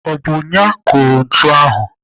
Ọ bụ ya kụrụ ntu ahụ?